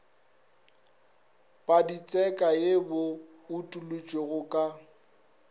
paditseka ye bo utolotšwego ka